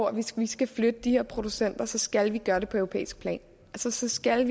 at hvis man skal flytte de her producenter så skal man gøre det på europæisk plan så skal